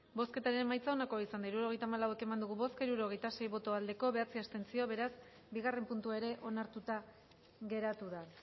bozketaren emaitza onako izan da hirurogeita hamalau eman dugu bozka hirurogeita sei boto aldekoa bederatzi abstentzio beraz bigarren puntua ere onartuta geratu da